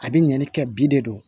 A bɛ ɲinɛni kɛ bi de do